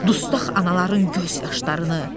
Dustaq anaların göz yaşlarını.